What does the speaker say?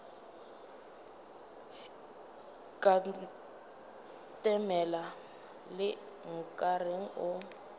ka ntemela le nkareng o